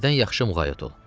Evdən yaxşı müğayət ol!